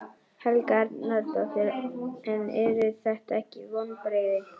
Helga Arnardóttir: En eru þetta ekki vonbrigði?